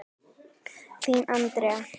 Þín, Andrea.